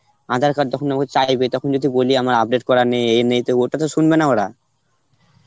aadhaar card তখন যখন চাইবে তখন যদি বলি আমার update করা নেই এ নেই তাহলে ওটা তো শুনবে না ওরা.